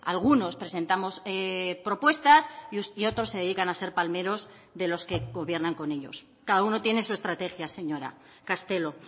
algunos presentamos propuestas y otros se dedican a ser palmeros de los que gobiernan con ellos cada uno tiene su estrategia señora castelo